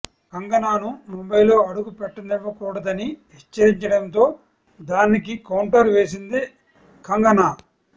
కంగనాను ముంబై లో అడుగుపెట్టనివ్వకూడదని హెచ్చరించడం తో దానికి కౌంటర్ వేసింది కంగనా